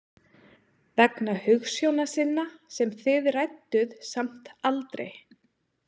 Vegna hugsjóna sinna sem þið rædduð samt aldrei?